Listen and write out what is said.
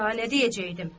Daha nə deyəcəkdim?